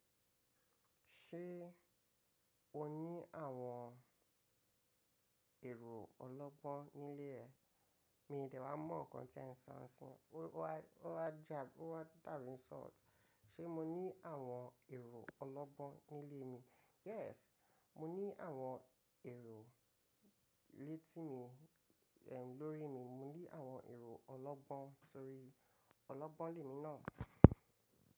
Ṣé o ní àwọn èrò ọlọ́gbọ́n nílé ẹ? Mi ò dẹ̀ wa mọ̀ nǹkan tí ẹ̀ ń sọ n sin, ó wá da bi ó wá dábi insult. Ṣé mo ní àwọn èrò ọlọ́gbọ́n nílé mi? Yes, mo ní àwọn èrò létí mi, lórí mi, mo ní àwọn èrò ọlọ́gbọ́n sórí ọlọ́gbọ́n lè mi náà.